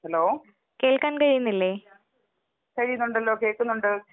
Hello കഴിയുന്നുണ്ടല്ലോ, കേക്കുന്നുണ്ട്.